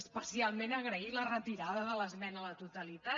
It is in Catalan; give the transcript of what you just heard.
especialment agrair la retirada de l’esmena a la totalitat